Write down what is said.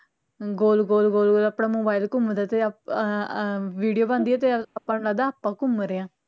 ਗੋਲ ਗੋਲ ਗੋਲ ਗੋਲ ਆਪਣਾ ਘੁੰਮਦਾ ਤੇ ਆ ਆ video ਬਣਦੀ ਐ ਤੇ ਆਪਾਂ ਨੂੰ ਲਗਦਾ ਆਪਾ ਘੁਮ ਰਹੇ ਆ